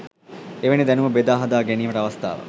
එවැනි දැනුම බෙදා හදා ගැනීමට අවස්ථාවක්